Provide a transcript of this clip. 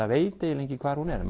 veit eiginlega engin hvar hún er